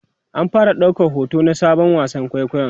an fara daukar hoto na Sabon wasan kwaikwayon